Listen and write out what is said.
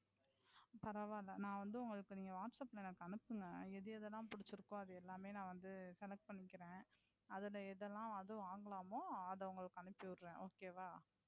பரவாயில்லை நான் வந்து உங்களுக்கு நீங்க whatsapp ல எனக்கு அனுப்புங்க. எது எது எல்லாம் புடிச்சுருக்கோ அது எல்லாமே நான் select பண்ணிகிரேன். அதுல எது எல்லாம் வாங்குலாமோ அத நான் உங்களுக்கு அனுப்பி விடுறேன்.